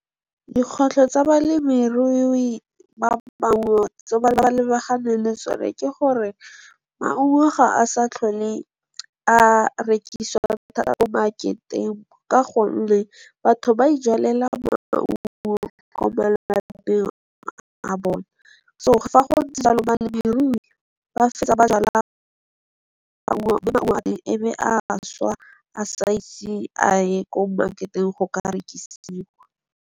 Dikgwetlho tsa balemirui tse ba lebagane le tsone ke gore, maungo ga a sa tlhole a rekisiwa ko mmaketeng ka gonne batho ba ijalela maungo ko malapeng a bone, so fa go ntse jalo balemirui ba fetsa ba jala maungo, mme maungo a teng e be a šwa a sa ise a ye ko mmaketeng go ka rekisiwa.